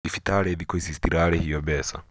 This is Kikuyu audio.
thibitarĩ thĩkũ ici citirarĩhio mbeca